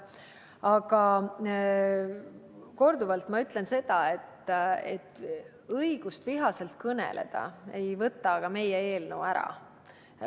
Aga ma kordan, et õigust vihaselt kõneleda ei võta meie eelnõu ära.